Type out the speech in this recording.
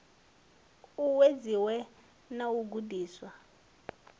u uwedziwe na u gudiswa